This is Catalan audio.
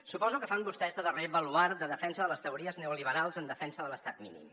suposo que fan vostès de darrer baluard de defensa de les teories neoliberals en defensa de l’estat mínim